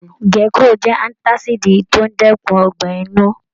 Gecrol jẹ antasidi to n dẹkùn ọgbẹ inú.